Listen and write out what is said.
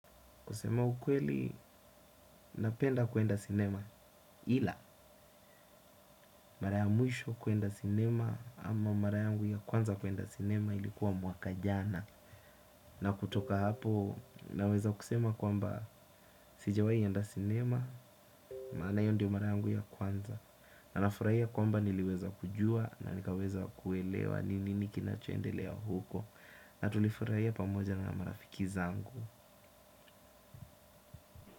Kusema ukweli, napenda kwenda sinema. Ila, mara ya mwisho kwenda sinema ama mara yangu ya kwanza kwenda cinema ilikuwa mwaka jana. Na kutoka hapo, naweza kusema kwamba sijawahi enda sinema, maana hiyo ndio mara yangu ya kwanza. Na nafurahia kwamba niliweza kujua na nikaweza kuelewa ni nini kinachoendelea huko. Na tulifurahia pamoja na marafiki zangu.